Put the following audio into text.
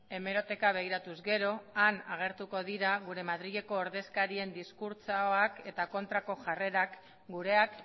hemeroteka begiratuz gero han agertuko dira gure madrileko ordezkarien diskurtsoak eta kontrako jarrerak gureak